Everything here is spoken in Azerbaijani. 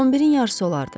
11-in yarısı olardı.